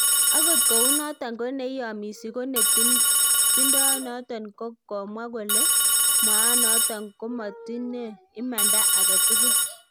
Agot kounoton ko ne iyomisi konetindonoton kogamwa kole mwaanoton komotinde imanda agetugul